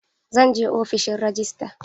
Zan je ofishin rajistra.